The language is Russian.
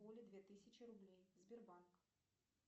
оле две тысячи рублей сбербанк